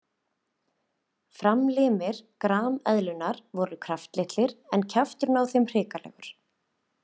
Framlimir grameðlunnar voru kraftlitlir en kjafturinn á henni hrikalegur.